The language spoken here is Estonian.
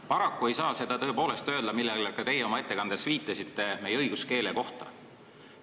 Paraku ei saa seda tõepoolest öelda, nagu ka teie oma ettekandes viitasite, meie õiguskeele kohta.